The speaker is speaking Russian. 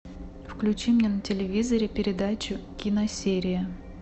включи мне на телевизоре передачу киносерия